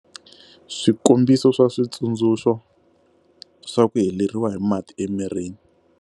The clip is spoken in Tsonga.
Swikombiso swa xitsundzuxo swa ku heleriwa hi mati emirini.